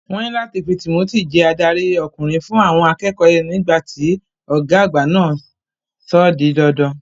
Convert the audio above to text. Wọ́n ní láti fi Timothy jẹ adarí ọkùnrin fún àwọn akẹ́kọ̀ọ́ nígbà tí ọ̀gá agba náà sọ ó di dandan.